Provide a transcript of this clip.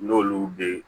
N'olu bɛ